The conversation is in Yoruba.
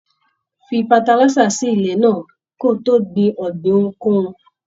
Fí fatalisa sí ilẹ náà kí o tó gbìn ọ̀gbìn ohunkóhun!